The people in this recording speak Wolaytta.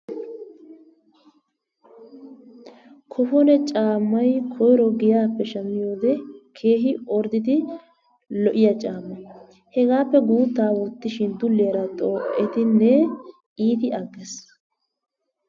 Kofone caammay koyro giyaappe shammiyode keehi ordidi lo'iya caamma. Hegaappee guuttaa wottishin duliyaara xoo'ettinee iiti agees.